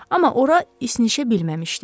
Amma ora isinişə bilməmişdi.